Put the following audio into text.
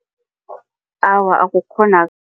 Awa,